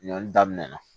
Ɲɔn daminɛ na